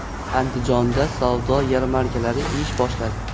Andijonda savdo yarmarkalari ish boshladi.